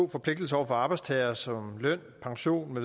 forpligtelser over for arbejdstagere som løn pension